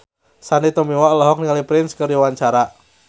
Sandy Tumiwa olohok ningali Prince keur diwawancara